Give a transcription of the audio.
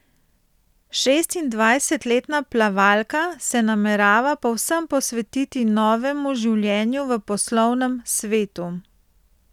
Šestindvajsetletna plavalka se namerava povsem posvetiti novemu življenju v poslovnem svetu.